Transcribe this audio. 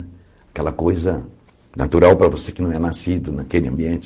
Aquela coisa natural para você que não é nascido naquele ambiente.